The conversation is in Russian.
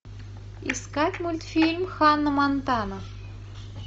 искать мультфильм ханна монтана